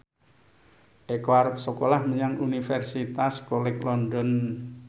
Eko arep sekolah menyang Universitas College London